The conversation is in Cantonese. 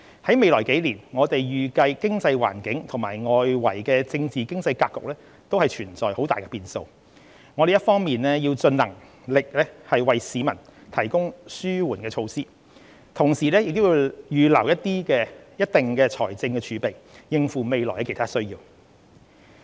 在未來數年，我們預計經濟環境及外圍政治經濟格局存在很大變數，我們一方面要盡能力為市民提供紓緩措施，同時亦要預留一定的財政儲備，應付未來其他需要。